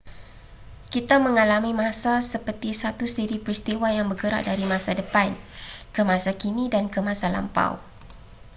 kita mengalami masa seperti satu siri peristiwa yang bergerak dari masa depan ke masa kini dan ke masa lampau